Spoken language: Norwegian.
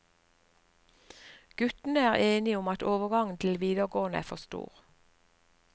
Guttene er enige om at overgangen til videregående er for stor.